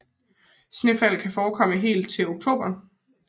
Snefald kan forekomme helt til oktober